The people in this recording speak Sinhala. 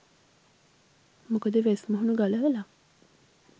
මොකද වෙස් මුහුණු ගලවලා